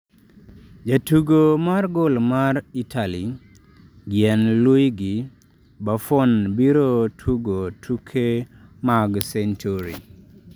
Jatugo mar goal ma Italy, Gianluigi Buffon biro tugo tuke mag 'century'